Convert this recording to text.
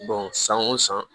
san o san